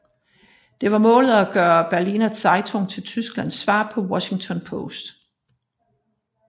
Det var målet at gøre Berliner Zeitung til Tysklands svar på Washington Post